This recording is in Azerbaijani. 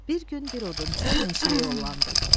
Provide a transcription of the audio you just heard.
Bir gün bir odunçu meşəyə yollandı.